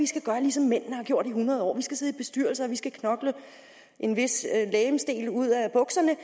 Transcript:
skal gøre ligesom mændene har gjort i hundrede år vi skal sidde i bestyrelser og vi skal knokle en vis legemsdel ud af bukserne